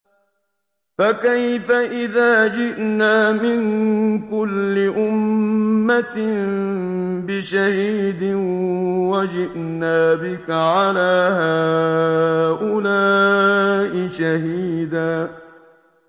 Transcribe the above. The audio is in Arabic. فَكَيْفَ إِذَا جِئْنَا مِن كُلِّ أُمَّةٍ بِشَهِيدٍ وَجِئْنَا بِكَ عَلَىٰ هَٰؤُلَاءِ شَهِيدًا